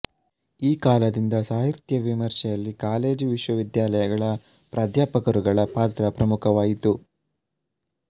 ಈ ಕಾಲದಿಂದ ಸಾಹಿತ್ಯ ವಿಮರ್ಶೆಯಲ್ಲಿ ಕಾಲೇಜು ವಿಶ್ವವಿದ್ಯಾಲಯಗಳ ಪ್ರಾಧ್ಯಾಪಕರುಗಳ ಪಾತ್ರ ಪ್ರಮುಖವಾಯಿತು